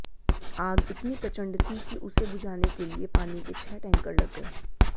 आग इतनी प्रचंड थी कि उसे बुझाने के लिए पानी के छह टैंकर लग गए